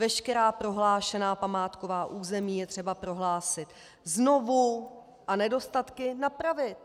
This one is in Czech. Veškerá prohlášená památková území je třeba prohlásit znovu a nedostatky napravit.